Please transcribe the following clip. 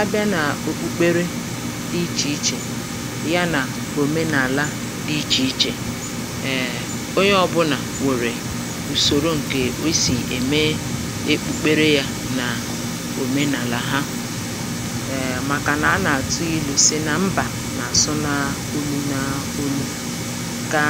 abịa nà òkpukpere dị ichè ichè yà nà òmenàla dị ichè ichè ee onye ọ̀bụlà nwèrè ùsòro ǹkè o sì ème èkpukpere yȧ nà òmenàlà ha um màkànà a nà-àtụ ilu̇ si nà mbà nà-àsụ naolu̇ naulu̇ kà